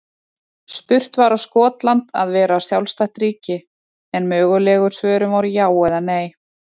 Spurt var á Skotland að vera sjálfstætt ríki? en mögulegu svörin voru já eða nei.